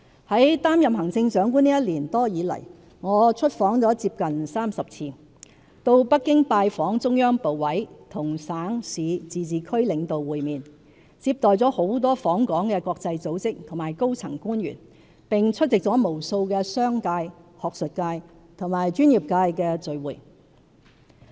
"在擔任行政長官這一年多來，我出訪接近30次，到北京拜訪中央部委，與省、市、自治區領導會面，接待了很多訪港的國際組織和高層官員，並出席了無數的商界、學術界和專業界別的聚會。